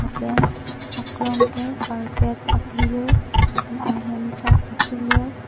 pen aklong ke carpet akilir lapen ahem ta akilir.